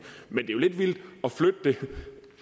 men jo lidt vildt at flytte det